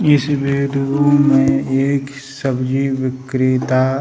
इस विडिओ में एक सब्जी विक्रेता --